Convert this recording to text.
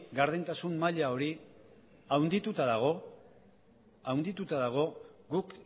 gardentasun maila hori handituta dago guk